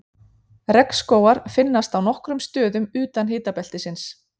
Regnskógar finnast á nokkrum stöðum utan hitabeltisins.